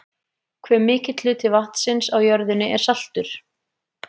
Hve mikill hluti vatnsins á jörðinni er saltur?